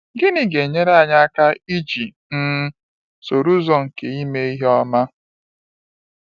Gịnị ga-enyere anyị aka iji um soro ụzọ nke ọ ime ihe ọma?